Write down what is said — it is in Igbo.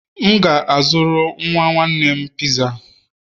M ga-azụrụ nwa nwanne m Pizza